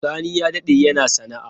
Sani ya dade yana sana'a.